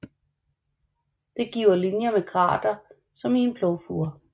Det giver linjer med grater som i en plovfure